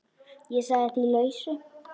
Ég sagði því lausu.